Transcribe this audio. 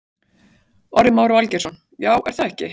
Orri Már Valgeirsson: Já, er það ekki?